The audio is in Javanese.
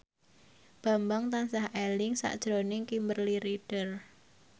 Bambang tansah eling sakjroning Kimberly Ryder